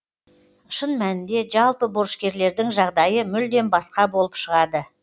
шын мәнінде жалпы борышкерлердің жағдайы мүлдем басқа болып шығады